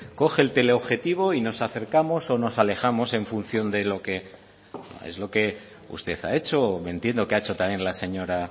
coge el teleobjetivo y nos acercamos o nos alejamos en función de lo que es lo que usted ha hecho o me entiendo que ha hecho también la señora